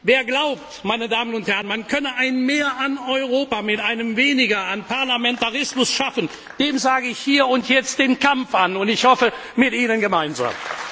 Wer glaubt, man könne ein Mehr an Europa mit einem Weniger an Parlamentarismus schaffen, dem sage ich hier und jetzt den Kampf an, und ich hoffe, mit Ihnen gemeinsam!